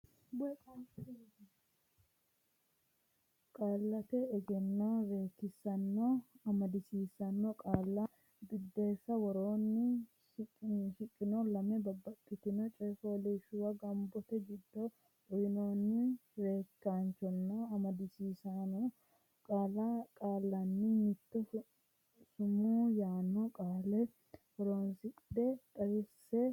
Qaallate Egenno Reekkisaanonna Amadisiisaano Qaalla Biddissa Woroonni shiqino lame babbaxxitino coy fooliishshuwa gombote giddo uynoonni reekkisaanonna amadisiisaano qaallanni mitto sumuu yaanno qaale horonsidhe xaadisse borreessi.